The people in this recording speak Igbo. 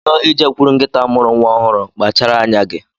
Ị chọọ i jekwuru nkịta mụrụ nwa ọhụụ, kpachara anya gị.